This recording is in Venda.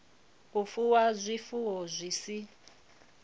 u fuwa zwifuwo zwi si